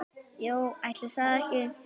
Jú, ætli það ekki.